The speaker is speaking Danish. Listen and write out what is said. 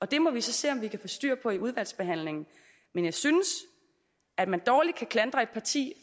det må vi så se om vi kan få styr på i udvalgsbehandlingen men jeg synes at man dårligt kan klandre et parti